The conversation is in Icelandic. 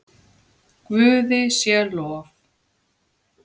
Guði sé lof.